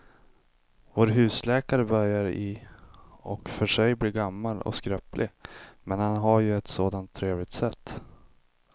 Vår husläkare börjar i och för sig bli gammal och skröplig, men han har ju ett sådant trevligt sätt!